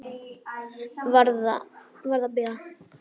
Varð að bíða.